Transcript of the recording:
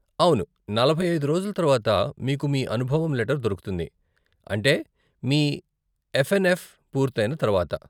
అవును, నలభై ఐదు రోజుల తరువాత మీకు మీ అనుభవం లెటర్ దొరుకుతుంది, అంటే మీ ఎఫ్ఎన్ఎఫ్ పూర్తయిన తర్వాత.